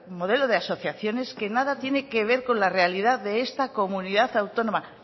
modelo de asociaciones que nada tiene que ver con la realidad de esta comunidad autónoma